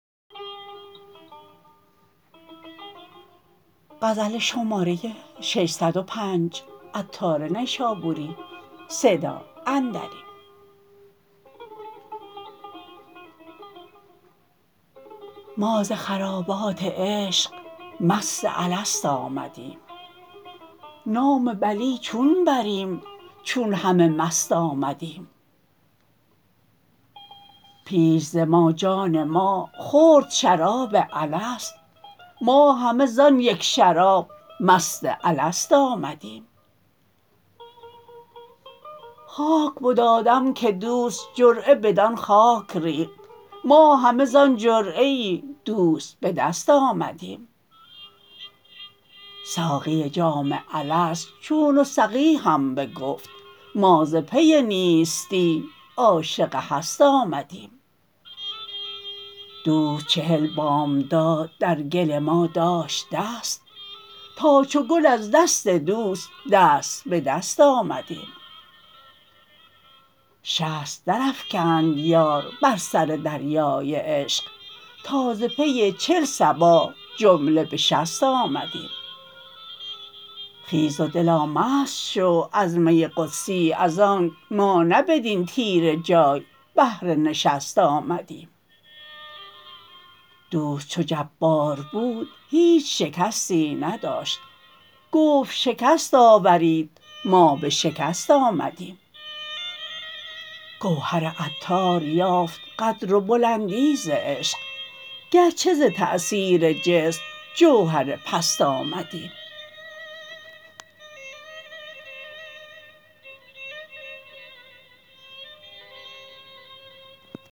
ما ز خرابات عشق مست الست آمدیم نام بلی چون بریم چون همه مست آمدیم پیش ز ما جان ما خورد شراب الست ما همه زان یک شراب مست الست آمدیم خاک بد آدم که دوست جرعه بدان خاک ریخت ما همه زان جرعه دوست به دست آمدیم ساقی جام الست چون و سقیهم بگفت ما ز پی نیستی عاشق هست آمدیم دوست چهل بامداد در گل ما داشت دست تا چو گل از دست دوست دست به دست آمدیم شست درافکند یار بر سر دریای عشق تا ز پی چل صباح جمله به شست آمدیم خیز و دلا مست شو از می قدسی از آنک ما نه بدین تیره جای بهر نشست آمدیم دوست چو جبار بود هیچ شکستی نداشت گفت شکست آورید ما به شکست آمدیم گوهر عطار یافت قدر و بلندی ز عشق گرچه ز تأثیر جسم جوهر پست آمدیم